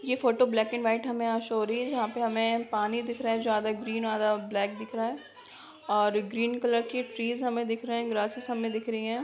ये photo black and white हमे यहाँ शो हो रही हैं। जहाँ पे हमे पानी दिख रहा है जो आधा ग्रीन और आधा ब्लैक दिख रहा है और ग्रीन कलर के ट्रीज हमें दिख रहे हैं ग्रासेज हमे दिख रही हैं।